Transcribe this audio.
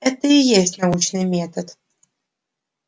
это и есть научный метод